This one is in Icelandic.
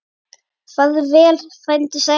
Farðu vel, frændi sæll.